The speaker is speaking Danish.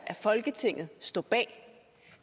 i folketinget står bag